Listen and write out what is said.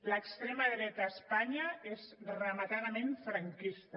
l’extrema dreta a espanya és rematadament franquista